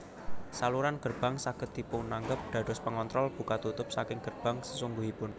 Saluran gerbang saged dipunanggep dados pengontrol buka tutup saking gerbang sesungguhipun